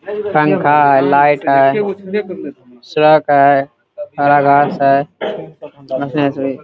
पंखा है लाइट है है हरा घास है।